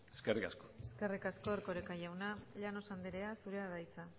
eskerrik asko eskerrik asko erkoreka jauna llanos andrea zurea da hitza